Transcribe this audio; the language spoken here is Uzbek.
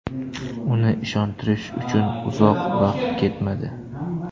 Uni ishontirish uchun uzoq vaqt ketmadi.